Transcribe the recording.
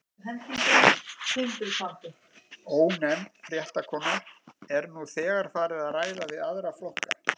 Ónefnd fréttakona: Er nú þegar farið að ræða við aðra flokka?